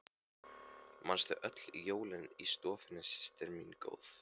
Manstu öll jólin í stofunni systir mín góð.